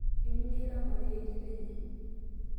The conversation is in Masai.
iminia ilo marei intito enye